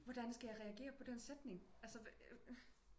Hvordan skal jeg reagere på den sætning altså